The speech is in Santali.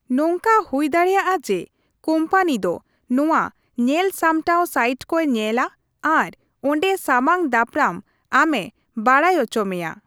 ᱱᱚᱝᱠᱟ ᱦᱩᱭᱫᱟᱲᱮᱭᱟᱜᱼᱟ ᱡᱮ ᱠᱳᱢᱯᱟᱱᱤ ᱫᱚ ᱱᱚᱣᱟ ᱧᱮᱞᱥᱟᱢᱴᱟᱣ ᱥᱟᱭᱤᱴᱠᱚᱭ ᱧᱮᱞᱟ ᱟᱨ ᱚᱸᱰᱮ ᱥᱟᱢᱟᱝ ᱫᱟᱯᱨᱟᱢ ᱟᱢ ᱮ ᱵᱟᱰᱟᱭᱚᱪᱚ ᱢᱮᱭᱟ ᱾